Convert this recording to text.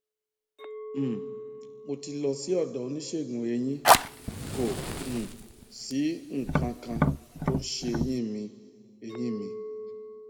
um mo ti lọ sí ọdọ oníṣègùneyín kò um sí nǹkan kan tó ń se eyín mi eyín mi